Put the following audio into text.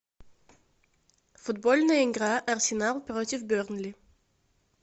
футбольная игра арсенал против бернли